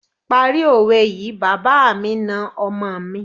Parí òwe yìí, bàbá mi na ọmọ mi.